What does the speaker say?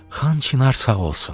Xan çinar sağ olsun.